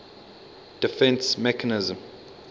defence mechanism